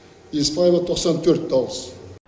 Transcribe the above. еспаева тоқсан төрт дауыс